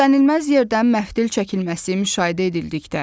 Gözlənilməz yerdən məftil çəkilməsi müşahidə edildikdə.